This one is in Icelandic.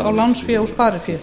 á lánsfé og sparifé